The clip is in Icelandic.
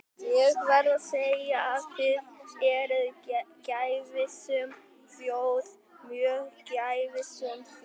Ég verð að segja að þið eruð gæfusöm þjóð, mjög gæfusöm þjóð.